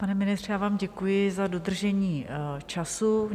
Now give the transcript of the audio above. Pane ministře, já vám děkuji za dodržení času.